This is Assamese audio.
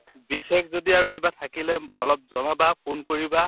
বিশেষ যদি আৰু কিবা থাকিলে অলপ জনাবা phone কৰিবা